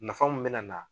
Nafa mun bɛna na